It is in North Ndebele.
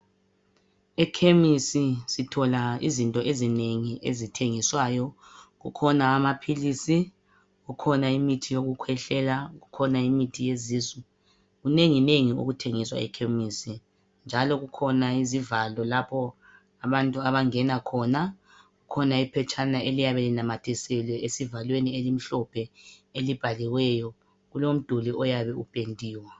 Ekhemisi sithola izinto ezinengi ezithengiswayo. Kukhona amaphilisi, kukhona imithi yokukhwehlela kukhona imithi yezisu, kunenginengi okuthengiswa ekhemisi njalo kukhona izivalo lapho abantu abangena khona. Kukhona iphetshana eliyabe linamathiselwe esivalweni elimhlophe elibhaliweyo kulomduli oyabe upendiwe.